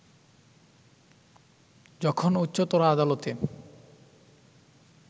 যখন উচ্চতর আদালতে